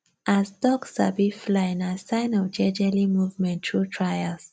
as duck sabi fly nah sign of jejeli movement tru trials